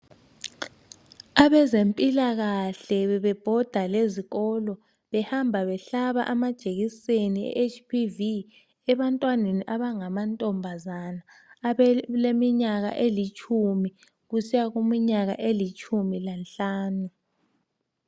Abezempilakahle bebebhoda lezikolo behamba behlaba amajekiseni eHPV ebantwaneni abangamankazana abaleminyaka elitshumi kusiya kwelitshumi lanhlanu.